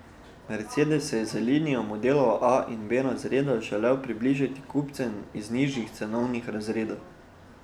Mercedes se je z linijo modelov A in B razreda želel približati kupcem iz nižjih cenovnih razredov.